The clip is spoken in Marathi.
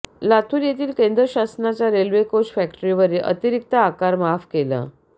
लातूर येथील केंद्र शासनाच्या रेल्वे कोच फॅक्टरीवरील अतिरिक्त आकार माफ केला